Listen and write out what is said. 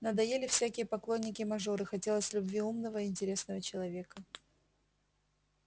надоели всякие поклонники-мажоры хотелось любви умного и интересного человека